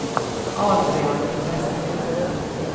Adrian Ovesen